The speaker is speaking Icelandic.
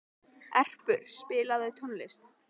Erpur, spilaðu tónlist.